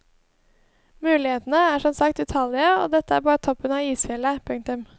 Mulighetene er som sagt utallige og dette er bare toppen av isfjellet. punktum